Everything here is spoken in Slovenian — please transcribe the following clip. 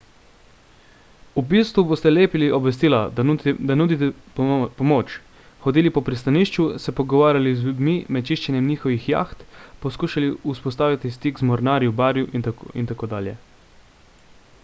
v bistvu boste lepili obvestila da nudite pomoč hodili po pristanišču se pogovarjali z ljudmi med čiščenjem njihovih jaht poskušali vzpostaviti stik z mornarji v baru itd